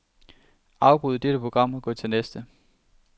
Afbryd dette program og gå til næste.